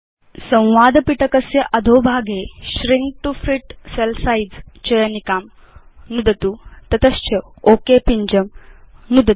संवादपिटकस्य अधोभागे shrink to fit cell size चयनिकां नुदतु तस्मात् च ओक पिञ्जं नुदतु